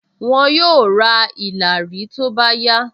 Wọn yóò ra ìlàrí tó bá yá